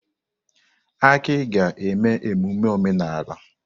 Aki ga-eme emume omenala.